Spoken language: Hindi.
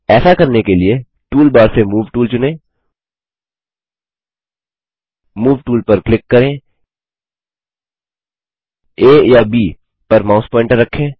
ऐसा करने के लिए टूल बार से मूव टूल चुनें मूव टूल पर क्लिक करें आ या ब पर माउस प्वॉइंटर रखें